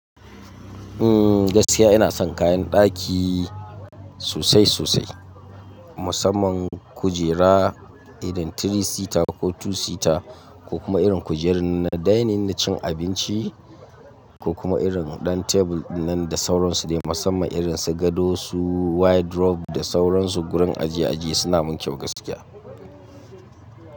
Ehh gaskiya ina son kayan daki sosai sosai, musamman kujera irin three seater ko two seater ko kuma irin kujerar na dining na cin abinci ko kuma irin ɗan tebur din nan da sauransu ne musamman irin su gado su wardrobe da sauransu gurin ajiye ajiye suna min kyau gaskiya.